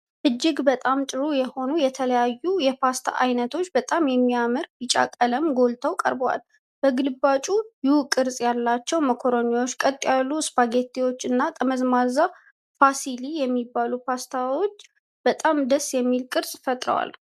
እጅግ በጣም ጥሩ የሆኑ የተለያዩ የፓስታ አይነቶች በጣም በሚያምር ቢጫ ቀለም ጎልተው ቀርበዋል። በግልባጭ ዩ ቅርፅ ያላቸው ማካሮኒዎች፣ ቀጥ ያሉ ስፓጌቲዎች እና ጠመዝማዛ ፉሲሊ የሚባሉ ፓስታዎች በጣም ደስ የሚል ቅርፅ ፈጥረዋል።